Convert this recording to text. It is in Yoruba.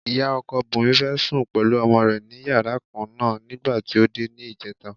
Ìyá ọkọ Bùnmi fẹ́ sùn pẹ̀lú ọmọ rẹ̀ ní yàrá kan náà nígbà tí ó dé ní ìjẹta.